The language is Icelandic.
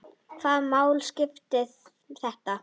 Hvaða máli skipti þetta?